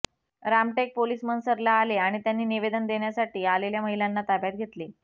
Ramtek police मनसरला आले आणि त्यांनी निवेदन देण्यासाठी आलेल्या महिलांना ताब्यात घेतले